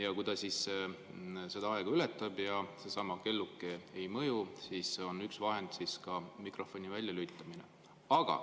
Ja kui keegi seda aega ületab ja seesama kelluke ei mõju, siis on üks vahend ka mikrofoni väljalülitamine.